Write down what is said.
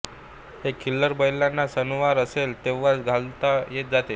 हे खिल्लार बैलांनाच सणवार असेल तेव्हाच घातले जाते